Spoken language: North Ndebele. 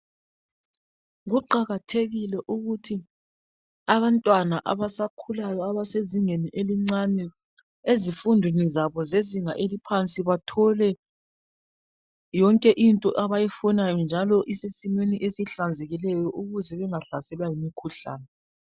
Kuqakathekile ukuthi abantwana abasakhulayo abasezingeni elincane ezifundweni zabo zezinga eliphansi bathole yonke into abayifunayo njalo isesimeni esihlanzekileyo ukuze bengahlaselwa yimikhuhlane.